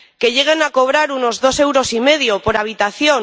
que lleguen a cobrar unos dos euros y medio por habitación